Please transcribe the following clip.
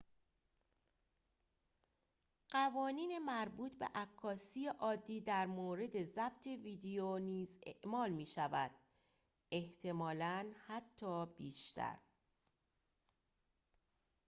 قوانین مربوط به عکاسی عادی در مورد ضبط ویدیو نیز اعمال می شود احتمالاً حتی بیشتر